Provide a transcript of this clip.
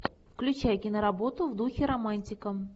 включай киноработу в духе романтика